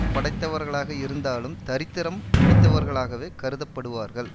படைத்தவர்களாக இருந்தாலும் தரித்திரம் பிடித்தவர்களாகவேக் கருதப்படுவார்கள்